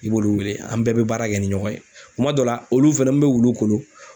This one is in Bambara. I b'olu wele an bɛɛ bɛ baara kɛ ni ɲɔgɔn ye kuma dɔ la olu fɛnɛni bɛ wulu kolo